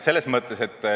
Ma ei tea.